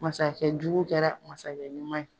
Masakɛ jugu kɛra masakɛ ɲuman ye.